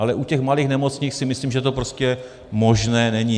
Ale u těch malých nemocnic si myslím, že to prostě možné není.